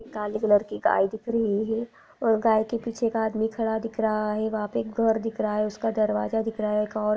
काले कलर की गाय दिख रही है और गाय के पीछे एक आदमी खड़ा दिख रहा है वहाँ पे एक घर दिख रहा है दरवाजा दिख रहा है एक औरत --